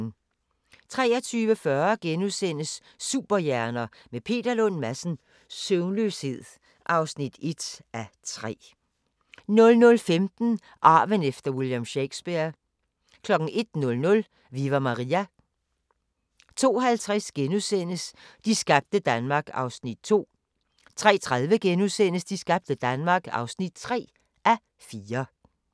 23:40: Superhjerner – med Peter Lund Madsen: Søvnløshed (1:3)* 00:15: Arven efter William Shakespeare 01:00: Viva Maria! 02:50: De skabte Danmark (2:4)* 03:30: De skabte Danmark (3:4)*